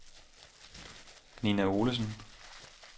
Ninna Olesen